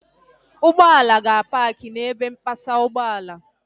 Ụgbọala ga-apaakị n'ebe mpasa ụgbọala